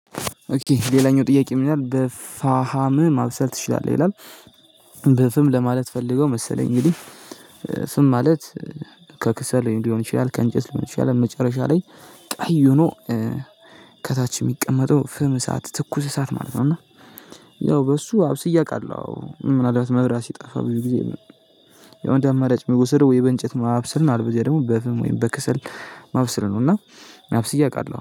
ኦኬ ሌላኛው ጥያቄ ምናምን በፋሃም ማብሰል ትችላለህ ይላል? በፍም ለማለት ፈልገው መሰለኝ እንጂ ፍም ማለት ከክሰል ሊሆን ይችላል ከእንጨት ሊሆን ይችላል መጨረሻ ላይ። ቀይ ሆኖ ከታች የሚቀመጠው ፍም እሳት ትኩስ እሳት ማለት ነው። እና ያው በሱ አብስዬ አውቃለሁ ምናልባት መብራት ሲጠፋ ብዙ ጊዜ። የሆነ እንደአማራጭ የሚወሰደው ወይ በእንጨት ማብስል ነው። አልበዚያ ደግሞ በፍም ወይም በከሰል ማብሰል ነው። እና አብስዬ አውቃለሁ